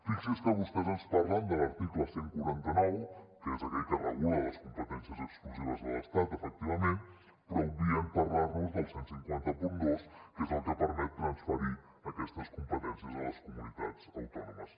fixi’s que vostès ens parlen de l’article cent i quaranta nou que és aquell que regula les competències exclusives de l’estat efectivament però obvien parlar nos del quinze zero dos que és el que permet transferir aquestes competències a les comunitats autònomes